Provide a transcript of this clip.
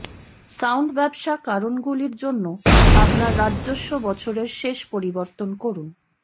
sound ব্যবসা কারণগুলির জন্য আপনার রাজস্ব বছরের শেষ পরিবর্তন করুন